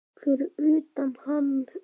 Fyrir utan hann og